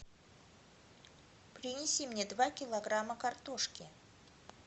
принеси мне два килограмма картошки